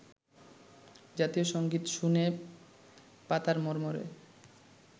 জাতীয় সংগীত শুনে পাতার মর্মরে